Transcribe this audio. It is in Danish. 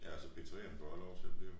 Ja og så pizzariaet får også lov til at blive